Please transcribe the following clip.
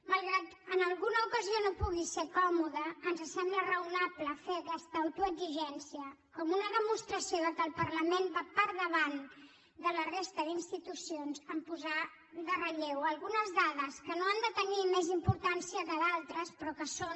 malgrat que en alguna ocasió no pugui ser còmode ens sembla raonable fer aquesta autoexigència com una demostració que el parlament va per davant de la resta d’institucions a posar en relleu algunes dades que no han de tenir més importància que d’altres però que són